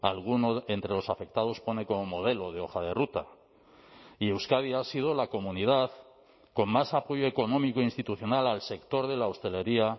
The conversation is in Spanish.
alguno entre los afectados pone como modelo de hoja de ruta y euskadi ha sido la comunidad con más apoyo económico institucional al sector de la hostelería